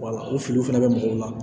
o filiw fɛnɛ bɛ mɔgɔw la